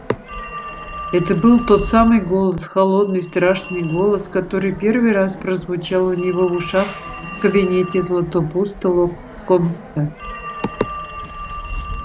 это был тот самый голос холодный страшный голос который первый раз прозвучал у него в ушах в кабинете златопуста локонса